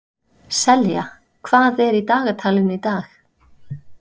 Selja, hvað er í dagatalinu í dag?